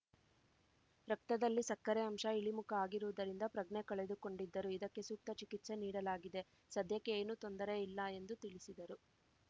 ರಕ್ತದಲ್ಲಿ ಸಕ್ಕರೆ ಅಂಶ ಇಳಿಮುಖ ಆಗಿರುವುದರಿಂದ ಪ್ರಜ್ಞೆ ಕಳೆದುಕೊಂಡಿದ್ದರು ಇದಕ್ಕೆ ಸೂಕ್ತ ಚಿಕಿತ್ಸೆ ನೀಡಲಾಗಿದೆ ಸದ್ಯಕ್ಕೆ ಏನೂ ತೊಂದರೆ ಇಲ್ಲ ಎಂದು ತಿಳಿಸಿದರು